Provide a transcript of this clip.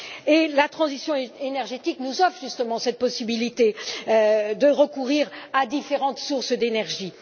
Justement, la transition énergétique nous offre cette possibilité de recourir à différentes sources d'énergie.